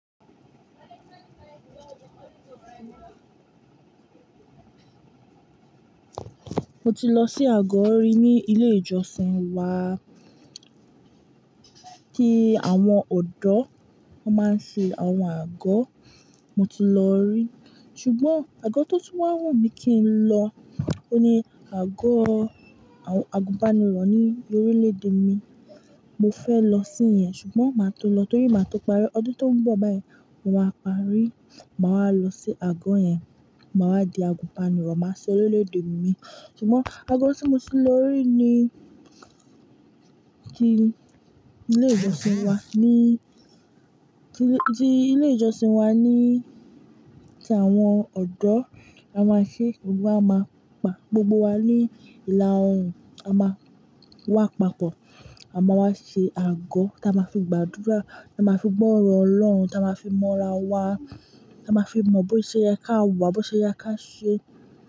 Mo ti lọ sí àgọ́ rí ní ilé ìjọsìn wa tí àwọn ọ̀dọ́ máa ń ṣe àwọn àgọ́. Mo ti lọ rí. Ṣùgbọ́n àgọ́ tó tún wá wù mí kí n lọ, òhun ní àgọ́ àwọn àgùnbánirọ̀ ní orílẹ̀-èdè mi. Mo fẹ́ lọ sí iyẹn ṣùgbọ́n màá tó lọ torí màá tó parí. Ọdún tó ń bọ̀ báyìí, mo máa parí, màá wa lọ sí àgọ́ yẹn, màá wa di àgùnbánirọ̀, màá ṣin orílẹ̀-èdè mi. Ṣùgbọ́n àgọ́ tí mo ti lọ rí ni ti ilé ìjọsìn wa tí ilé ìjọsìn wa ni tí àwọn ọ̀dọ́ a máa ṣe, gbogbo wa máa pa gbogbo wa ní ìlà oòrùn, a máa wà papọ̀, a máa wá ṣe àgọ́ tí a máa fi gbàdúrà, a máa fi gbọ́ ọ̀rọ̀ Ọlọ́run, tí a máa fi mọ ara wa, tí a máa fi mọ bo ṣe yẹ ká wà, bo ṣe yẹ ká ṣe.